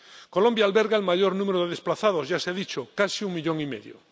Colombia alberga el mayor número de desplazados —ya se ha dicho—, casi un millón y medio.